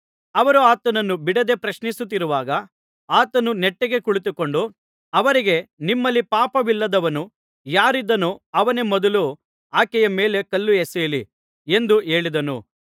ಅವರು ಆತನನ್ನು ಬಿಡದೆ ಪ್ರಶ್ನಿಸುತ್ತಿರುವಾಗ ಆತನು ನೆಟ್ಟಗೆ ಕುಳಿತುಕೊಂಡು ಅವರಿಗೆ ನಿಮ್ಮಲ್ಲಿ ಪಾಪವಿಲ್ಲದವನು ಯಾರಿದ್ದಾನೋ ಅವನೇ ಮೊದಲು ಆಕೆಯ ಮೇಲೆ ಕಲ್ಲು ಎಸೆಯಲಿ ಎಂದು ಹೇಳಿದನು